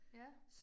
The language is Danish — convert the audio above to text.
Ja